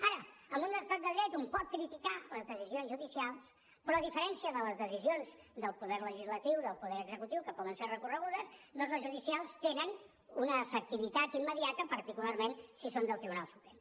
ara en un estat de dret un pot criticar les decisions judicials però a diferència de les decisions del poder legislatiu del poder executiu que poden ser recorregudes doncs les judicials tenen una efectivitat immediata particularment si són del tribunal suprem